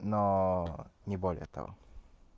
но не более того